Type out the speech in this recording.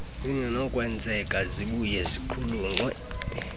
zingenakwenzeka zibuye ziqulunqwe